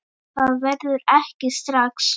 Það verður ekki strax